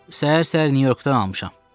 Səhər-səhər Nyu-Yorkdan almışam.